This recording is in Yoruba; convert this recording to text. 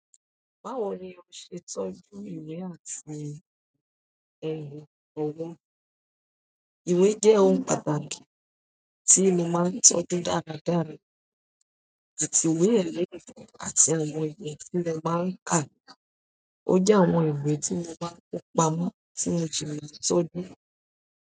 Báwo ni o ṣe ń tọ́jú ìwé àti ohun òwó? Ìwé jẹ́ ohun pàtàkì tí mo máa ń tọ́jú dáradára, àti ìwé ẹ̀lẹ́rìndòdò àti àwọn ìwé tí mo máa ń kà. Ó jẹ́ àwọn ìwé tí mo bá ń pa mú tí mo fi máa ń tọ́jú.